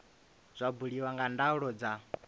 zwa buliwa nga ndaulo dza